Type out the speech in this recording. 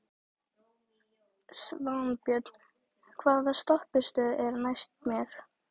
Svanbjörn, hvaða stoppistöð er næst mér?